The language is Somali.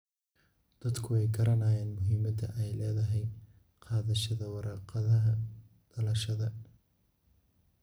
Dadku way garanayaan muhiimada ay leedahay qaadashada warqadaha dhalashada.